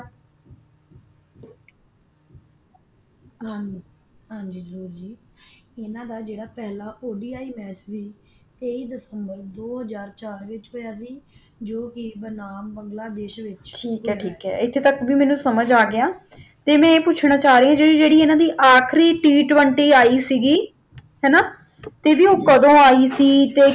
ਤੇ ਮੈਂ ਇਹ ਪੁੱਛਣਾ ਚਾਹ ਰਹੀ ਹਾਂ ਜਿਹੜੀ ਜਿਹੜੀ ਇਹਨਾਂ ਦੀ ਆਖ਼ਿਰੀ T Twenty ਆਈ ਸੀ ਹੈ ਨਾ ਤੇ ਵੀ ਓ ਕਦੋ ਆਈ ਸੀ